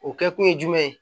O kɛkun ye jumɛn ye